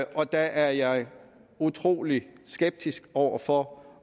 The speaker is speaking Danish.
og der er jeg utrolig skeptisk over for